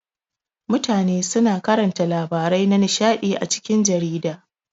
Mutane suna karanta labarai na nishaɗi a cikin jarida.